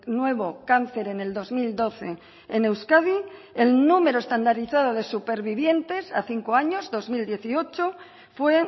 nuevo cáncer en el dos mil doce en euskadi el número estandarizado de supervivientes a cinco años dos mil dieciocho fue